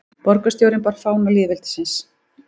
Borgarstjórinn bar fána lýðveldisins